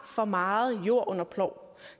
for meget jord under plov